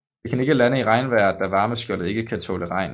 Den kan ikke lande i regnvejr da varmeskjoldet ikke kan tåle regn